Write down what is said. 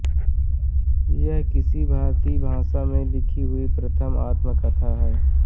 यह किसी भारतीय भाषा में लिखी हुई प्रथम आत्मकथा है